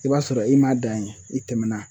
I b'a sɔrɔ i ma dan ye, i tɛmɛna.